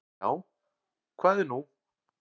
"""Já, hvað er nú?"""